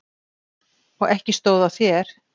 Og ekki stóð á þér.